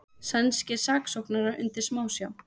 Sænskir saksóknarar undir smásjá